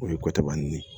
O ye ko cɛba ni ye